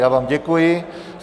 Já vám děkuji.